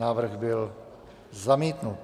Návrh byl zamítnut.